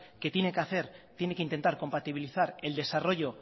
que tiene que hacer tiene que intentar compatibilizar el desarrollo